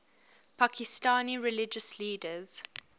pakistani religious leaders